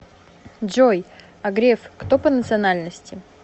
джой а греф кто по национальности